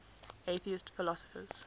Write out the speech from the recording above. atheist philosophers